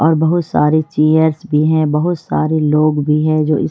और बहुत सारे चेयरस् भी है बहुत सारे लोग भी हैं जो इस --